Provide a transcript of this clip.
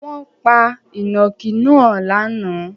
Wọn pa ìnàkí náà lánàá?